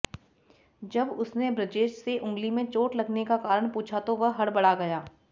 जब उसने बृजेश से अंगुली में चोट लगने का कारण पूछा तो वह हड़बड़ा गया